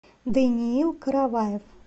даниил караваев